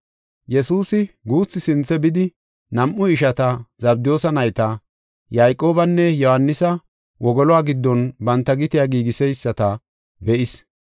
Yesuusi guuthi sinthe bidi, nam7u ishata Zabdiyoosa nayta, Yayqoobanne Yohaanisa wogoluwa giddon banta gitiya giigiseyisata be7is.